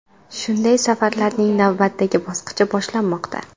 Shunday safarlarning navbatdagi bosqichi boshlanmoqda.